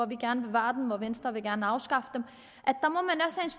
vil gerne bevare dem og venstre vil gerne afskaffe dem